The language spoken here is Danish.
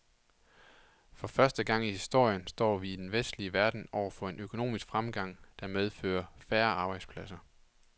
For første gang i historien står vi i den vestlige verden over for en økonomisk fremgang, der medfører færre arbejdspladser.